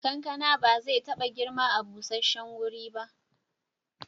Kankana ba zai taba girma a busasshen guri ba.